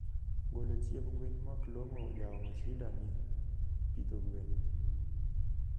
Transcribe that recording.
Golo chiemb gwen moklongo jaomo shida ne pidho gwen